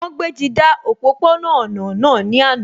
Wọ́n gbéji dá òpópó-ọ̀nà náà ní àná